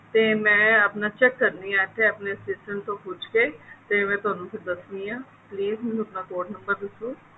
ਤੇ ਮੈਂ ਆਪਣਾ check ਕਰਦੀ ਹਾਂ ਇੱਥੇ ਆਪਣੇ assistant ਤੋਂ ਪੁੱਛ ਕੇ ਫੇਰ ਮੈਂ ਤੁਹਾਨੂੰ ਦੱਸਦੀ ਹਾਂ please ਮੈਨੂੰ ਆਪਣਾ code number ਦੱਸੋ